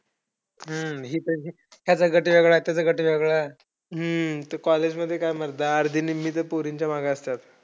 हम्म हिचा याचा गट वेगळा त्याच्या गट वेगळा. हम्म college काय म्हणता अर्ध्या निम्मी पोरीच्या मागे असतात.